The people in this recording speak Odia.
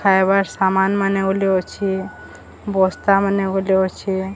ଖାଇବାର ସାମନ୍ ମାନେ ଓଲ୍ହେ ଅଛି ବସ୍ତା ମାନେ ଓଲେ ଅଛି।